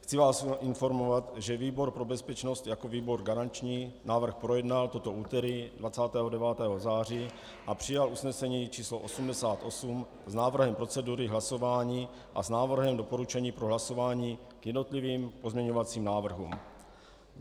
Chci vás informovat, že výbor pro bezpečnost jako výbor garanční návrh projednal toto úterý 29. září a přijal usnesení č. 88 s návrhem procedury hlasování a s návrhem doporučení pro hlasování k jednotlivým pozměňovacím návrhům.